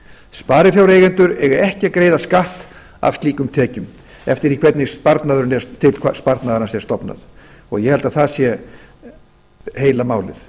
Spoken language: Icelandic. sparifjáreigendur eiga ekki að greiða skatt af slíkum tekjum eftir því hvernig til sparnaðarins er stofnað og ég held að það sé heila málið